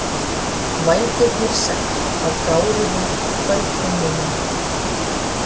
Vængirnir segl á gáruðum kvöldhimninum.